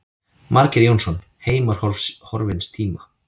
Margeir Jónsson, Heimar horfins tíma.